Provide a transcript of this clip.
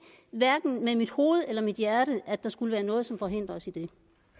hverken med mit hoved eller mit hjerte at der skulle være noget som forhindrer os i det